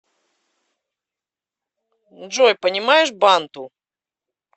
джой понимаешь банту